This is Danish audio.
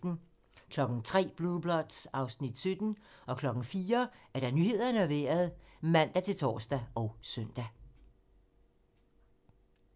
03:00: Blue Bloods (Afs. 17) 04:00: Nyhederne og Vejret (man-tor og søn)